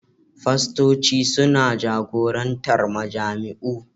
Fastoci suna jagorantar majami'u